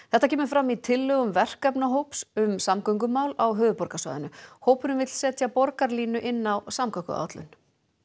þetta kemur fram í tillögum verkefnahóps um samgöngumál á höfuðborgarsvæðinu hópurinn vill setja borgarlínu inn á samgönguáætlun